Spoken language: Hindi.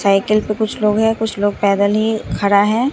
साइकिल पे कुछ लोग हैं कुछ लोग पैदल ही खड़ा है।